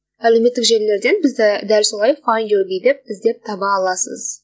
әлеуметтік желілерден бізді дәл солай файнд ю би деп іздеп таба аласыз